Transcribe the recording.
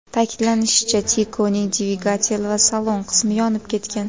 Ta’kidlanishicha, Tico‘ning dvigatel va salon qismi yonib ketgan.